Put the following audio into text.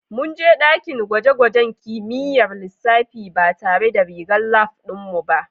Mun je dakin gwaje-gwajen kimiyyar lissafi ba tare da rigar lab ɗin mu ba